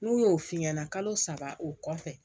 N'u y'o f'i ɲɛna kalo saba o kɔfɛ